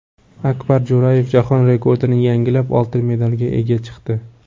Akbar Jo‘rayev jahon rekordini yangilab, oltin medalga ega chiqdi.